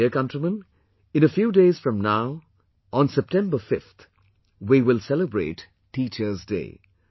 My dear countrymen, in a few days from now on September 5th, we will celebrate Teacher's day